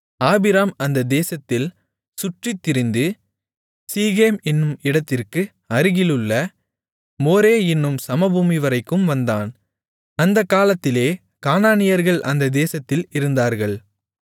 ஆபிராம் அந்த தேசத்தில் சுற்றித்திரிந்து சீகேம் என்னும் இடத்திற்கு அருகிலுள்ள மோரே என்னும் சமபூமிவரைக்கும் வந்தான் அந்தக் காலத்திலே கானானியர்கள் அந்த தேசத்தில் இருந்தார்கள்